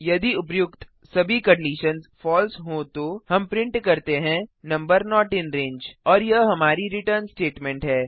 यदि उपर्युक्त सभी कंडिशन्स फलसे हों तो हम प्रिंट करते हैं नंबर नोट इन रंगे और यह हमारी रिटर्न स्टेटमेंट है